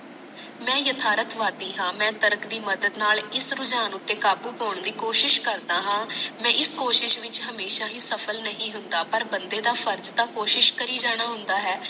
ਮੈਂ ਯਥਾਰਤ ਵਾਦੀ ਹਾਂ ਮੈ ਤਾਰਾਤ ਦੀ ਮਦਤ ਨਾਲ ਇਸ ਰੁਜਾਨ ਉਤੇ ਕਾਬੂ ਪਾਨ ਦੀ ਕੋਸਿਸ ਕਰਦਾ ਹਾਂ ਮੈ ਇਸ ਕੋਸਿਸ ਵਿਚ ਹਮੇਸ਼ਾ ਹੀ ਸਫਲ ਨਹੀਂ ਹੁੰਦਾ ਪਰ ਬੰਦੇ ਦਾ ਫਰਜ਼ ਤਾ ਕੋਸਿਸ ਤਾ ਕੋਸਿਸ ਕਰੀ ਜਾਣਾ ਹੁੰਦਾ ਹੈ